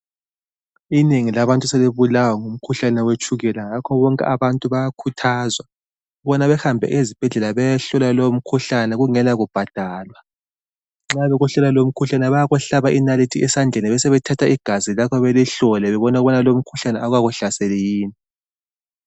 Inengi labantu sebebulawa ngumkhuhlane wetshukela ngakho bonke abantu bayakhuthazwa ukubana bahambe esibhedlela bayohlolwa umkhuhlane lowo kungelakubhadalwa. Nxa bekuhlola lowo mkhuhlane bayakuhlaba inalithi esandleni besebethatha igazi lakho belihlole bebone ukubana lowo mkhuhlane awukakuhlaseli yini.